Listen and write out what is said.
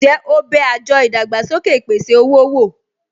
Ǹjẹ́ o bẹ àjọ ìdàgbàsókè ìpèsè-owó wò?